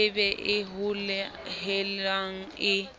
e be e hohelang e